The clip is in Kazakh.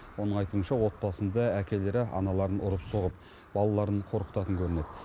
оның айтуынша отбасында әкелері аналарын ұрып соғып балаларын қорқытатын көрінеді